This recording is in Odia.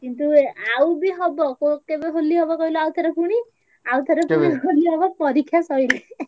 କିନ୍ତୁ ଆଉ ବି ହବ କେବେ ହୋଲି ହବ କହିଲୁ ଆଉଥରେ ପୁଣି ଆଉଥରେ ହୋଲି ହବ ପରିକ୍ଷା ସରିଲେ